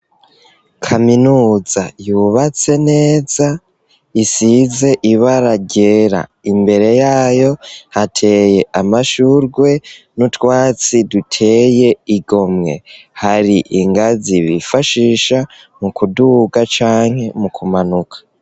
Kaminuza yubatse neza isize ibara ryera imbere yayo hateye amashurwe n'utwatsi duteye igomwe, hari ingazi bifashisha mu kuduga canke mu kumanuka.